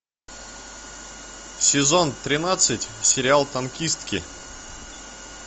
сезон тринадцать сериал танкистки